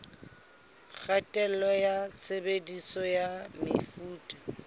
kgatello ya tshebediso ya mefuta